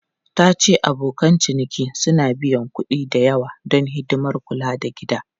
Ta ce abokan ciniki suna biyan kuɗi da yawa don hidimar kula da gida.